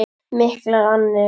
Miklar annir.